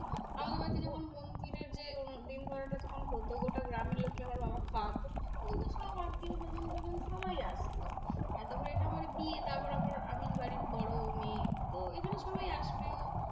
আমার কাছে যখন মন্দিরের যে দিন ধরাটা তখন হতো গোটা গ্রামের লোককে আমার বাবা খাওয়াতো। আমাদের সব আত্মীয়স্বজন তজন সবাই আসতো। আশাকরি এটা আমার বিয়ে, তারপর আবার আমিই বাড়ির বড় মেয়ে তো এখানে সবাই আসবেও।